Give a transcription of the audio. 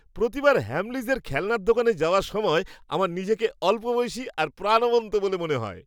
প্রতিবার হ্যামলিজের খেলনার দোকানে যাওয়ার সময় আমার নিজেকে অল্পবয়সি আর প্রাণবন্ত বলে মনে হয়!